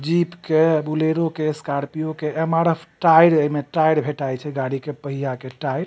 Jeep के Bolero के Scorpio के एम.आर.एफ. टायर एमें टायर भेटाए छै गाड़ी कि पहिया के टायर --